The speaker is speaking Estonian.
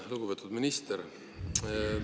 Lugupeetud minister!